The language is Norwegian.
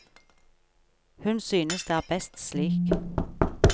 Hun synes det er best slik.